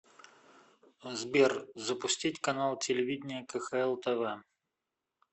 сбер запустить канал телевидения кхл тв